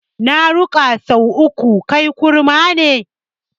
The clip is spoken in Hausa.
Na kiraka sau uku, kai kurma ne?